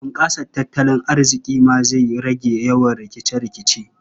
Bunƙasa tattalin arziƙi ma zai rage yawan rikice-rikice.